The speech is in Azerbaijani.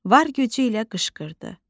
Var gücü ilə qışqırdı: